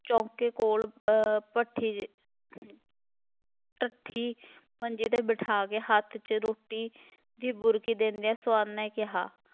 ਚੌਂਕੇ ਕੋਲ ਅਹ ਭੱਠੀ ਢੱਠੀ ਮੰਜੇ ''ਤੇ ਬਿਠਾ ਕੇ, ਹੱਥ 'ਚ ਰੋਟੀ ਦੀ ਬੁਰਕੀ ਦਿੰਦਿਆਂ ਸਵਰਨ ਨੇ ਕਿਹਾ,